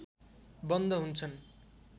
बन्द हुन्छन्